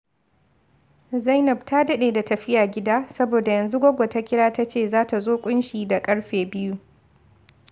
Zainab ta daɗe da tafiya gida, saboda yanzu Gwaggo ta kira ta ce za ta zo ƙunshi da ƙarfe biyu